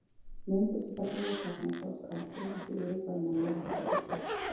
Myndir sem þarna voru teknar sáust aldrei af því yfirbragð manna var heldur slappt.